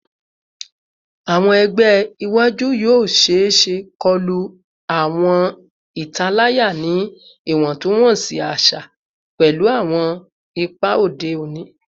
Awọn ẹgbẹ iwaju yoo ṣeese koju awọn italaya ni iwọntunwọnsi aṣa pẹlu awọn ipa ode oni